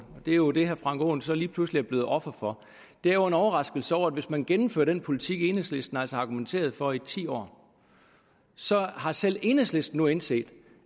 er jo det herre frank aaen så lige pludselig er blevet offer for er jo en overraskelse over at hvis man gennemfører den politik enhedslisten altså har argumenteret for i ti år så har selv enhedslisten nu indset